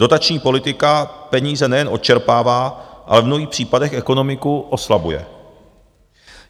Dotační politika peníze nejen odčerpává, ale v mnohých případech ekonomiku oslabuje.